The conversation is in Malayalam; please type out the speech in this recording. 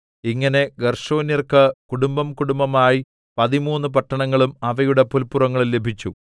ഇങ്ങനെ ഗേർശോന്യർക്ക് കുടുംബംകുടുംബമായി പതിമൂന്ന് പട്ടണങ്ങളും അവയുടെ പുല്പുറങ്ങളും ലഭിച്ചു